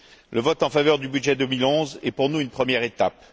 Le vote en faveur du budget 2011 est pour nous une première étape.